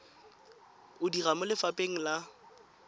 o dira mo lefapheng la